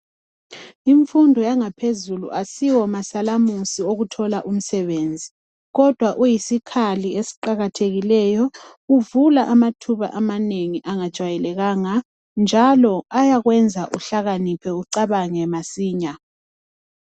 Imfundo yangaphezulu asiwo masalamusi okuthola umsebenzi kodwa uyisikhali esiqakathekileyo uvula amathuba amanengi angajwayelekanga njalo ayakwenza uhlakaniphe ucabange masinya.